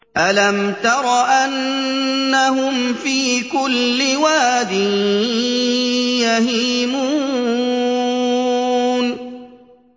أَلَمْ تَرَ أَنَّهُمْ فِي كُلِّ وَادٍ يَهِيمُونَ